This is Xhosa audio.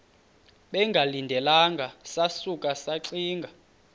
bengalindelanga sasuka saxinga